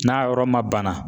N'a yɔrɔ ma bana